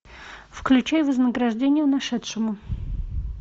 включай вознаграждение нашедшему